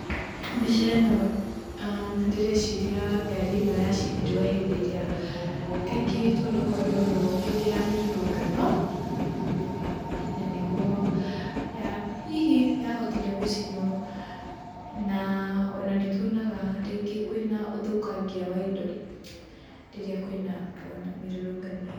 Mbica ĩno ndĩreciria ngaari ĩno yacinirwo hĩndĩ ĩrĩa kaingĩ tuonaga ũndũ ũyũ hĩndĩ ya mĩrurungano. Na nĩguo hihi yahotire gũcinwo na ona nĩtuonaga rĩngĩ kwĩna ũthukangĩa wa ĩndo rĩrĩa kwĩna ona mĩrurungano ĩno.